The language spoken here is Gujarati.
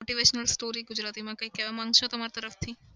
motivational story ગુજરાતીમાં કંઈ કેવા માંગશો તમાર તરફથી?